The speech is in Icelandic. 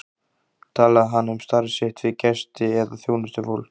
Talaði hann um starf sitt við gesti eða þjónustufólk?